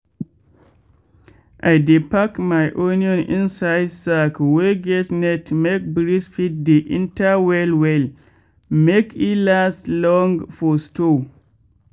i dey pack my onion inside sack wey get net make breeze fit dey enter well well make e last long for store.